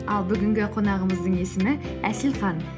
ал бүгінгі қонағымыздың есімі әселхан